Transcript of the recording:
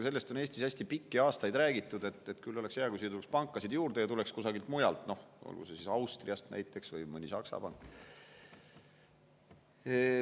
Eestis on pikki aastaid räägitud, et küll oleks hea, kui siia tuleks pankasid juurde, ja neid tuleks kusagilt mujalt, olgu siis Austriast või tuleks näiteks mõni Saksa pank.